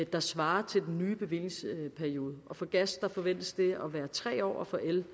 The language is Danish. der svarer til den nye bevillingsperiode for gas forventes det at være tre år og for el